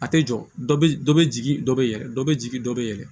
A tɛ jɔ dɔ bɛ dɔ bɛ jigin dɔ bɛ yɛlɛ dɔ bɛ jigin dɔ bɛ yɛlɛ